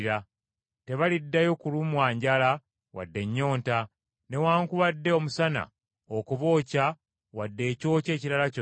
Tebaliddayo kulumwa njala wadde ennyonta, newaakubadde omusana okubookya wadde ekyokya ekirala kyonna;